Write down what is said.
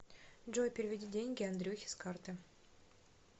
джой переведи деньги андрюхе с карты